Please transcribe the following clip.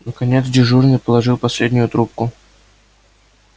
наконец дежурный положил последнюю трубку